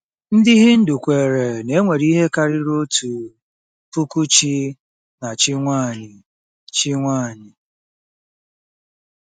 Ndị Hindu kweere na e nwere ihe karịrị otu puku chi na chi nwaanyị. chi nwaanyị.